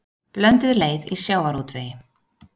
Blönduð leið í sjávarútvegi